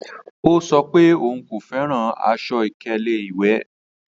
Ọ̀ sọ pé ọún kò fẹ́ran àṣọ-ìkẹlẹ̀ iwẹ́.